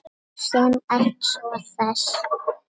Þú sem ert svo hress!